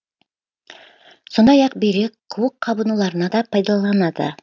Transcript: сондай ақ бүйрек қуық қабынуларына да пайдаланады